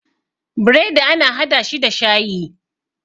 bredi ana hada shi da shayi